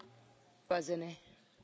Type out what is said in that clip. Je vous remercie pour votre question.